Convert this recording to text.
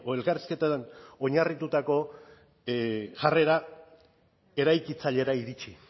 elkarrizketan oinarritutako jarrera eraikitzailera iritsi